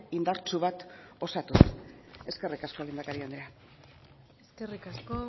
indartsu bat osatuz eskerrik asko lehendakari andrea eskerrik asko